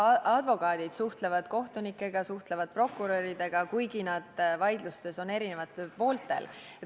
Advokaadid suhtlevad kohtunikega, samuti prokuröridega, kuigi nad on vaidlustes eri pooltel.